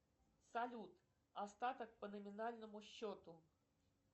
салют остаток по номинальному счету